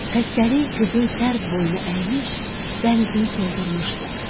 Xəstəlik qızın sərv boyunu əymiş, bənizini soldurmuşdu.